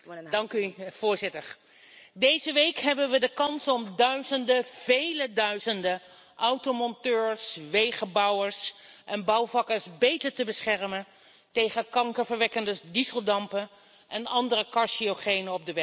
Voorzitter, deze week hebben we de kans om duizenden, vele duizenden automonteurs, wegenbouwers en bouwvakkers beter te beschermen tegen kankerverwekkende dieseldampen en andere carcinogenen op de werkvloer.